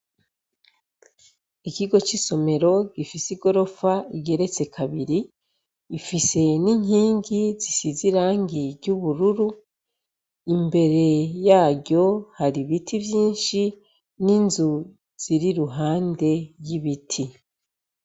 Ikigo c'isomero gifise igorofa igeretse kabiri gifise n'inkingi zisize irangi ry'ubururu imbere yaryo hari ibiti vyinshi n'inzu ziri iruhande y'ibiti.